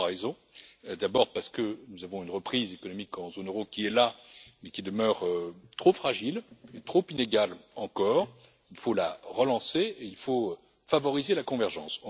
Pour trois raisons d'abord, parce que nous avons une reprise économique dans la zone euro qui est là, mais qui demeure trop fragile et trop inégale encore. Il faut la relancer et favoriser la convergence.